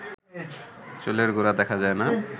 চুলের গোড়া দেখা যায় না